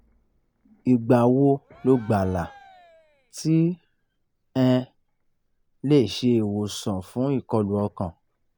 igba wo lo gba la ti um le se iwosan fun ikọlu ọkan?